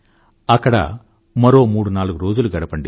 అక్కడ మరో మూడు నాలుగు రోజులు గడపండి